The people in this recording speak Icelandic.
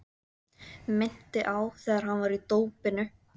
Minnti á þegar hann var í dópinu.